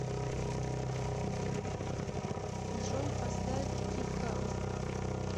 джой поставь дип хаус